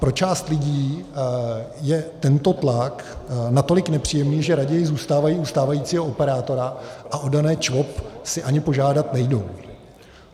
Pro část lidí je tento tlak natolik nepříjemný, že raději zůstávají u stávajícího operátora a o dané ČVOP si ani požádat nejdou.